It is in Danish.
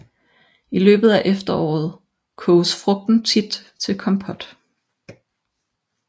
I løbet af efteråret koges frugten tit til kompot